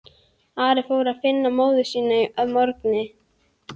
Ari fór að finna móður sína að morgni.